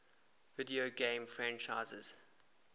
video game franchises